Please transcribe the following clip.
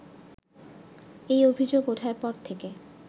এই অভিযোগ ওঠার পর থেকে